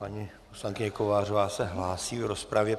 Paní poslankyně Kovářová se hlásí v rozpravě.